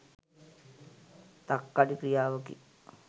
තක්කඩි ක්‍රියාවකි.